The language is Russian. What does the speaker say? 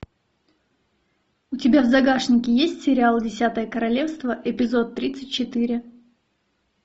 у тебя в загашнике есть сериал десятое королевство эпизод тридцать четыре